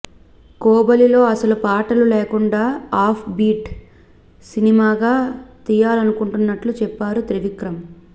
కోబలిలో అసలు పాటలు లేకుండా ఆఫ్ బీట్ సినిమాగ తీయాలనుకున్నట్టు చెప్పారు త్రివిక్రం